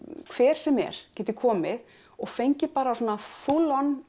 hver sem er geti komið og fengið svona full on